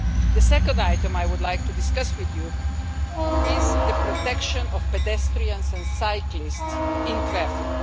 The second item I would like to discuss with you is the protection of pedestrians and cyclists in traffic.